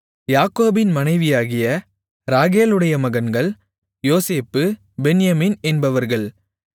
யாக்கோபின் மனைவியாகிய ராகேலுடைய மகன்கள் யோசேப்பு பென்யமீன் என்பவர்கள்